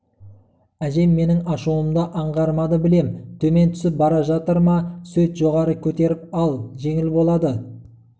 әжем менің ашуымды аңғармады білем -төмен түсіп бара жатыр ма сөйт жоғары көтеріп ал жеңіл болады